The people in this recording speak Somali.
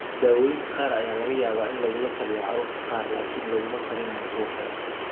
Daawooyinka qaar ayaa laga yaabaa in lagula taliyo carruurta qaar laakiin laguma talinayo kuwa kale.